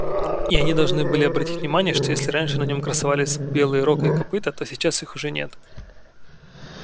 и они должны были обратить внимание что если раньше на нём красовались белые рог и копыто то сейчас их уже нет